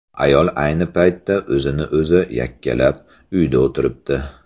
Ayol ayni paytda o‘zini o‘zi yakkalab, uyda o‘tiribdi.